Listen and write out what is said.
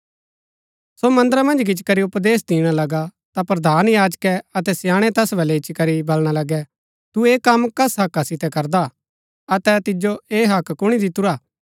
सो मन्दरा मन्ज गिच्ची करी उपदेश दिणा लगा ता प्रधान याजकै अतै स्याणै तैस बलै इच्ची करी बलणा लगै तु ऐह कम कस हक्का सितै करदा हा अतै तिजो ऐह हक्क कुणी दितुरा